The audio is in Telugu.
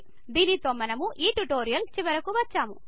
దీనితో మనం ఈ ట్యూటోరియల్ చివరకు వచ్చాము